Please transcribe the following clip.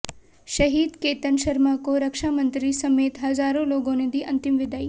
शहीद केतन शर्मा को रक्षामंत्री समेत हजारों लोगों ने दी अंतिम विदाई